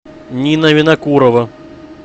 нина винокурова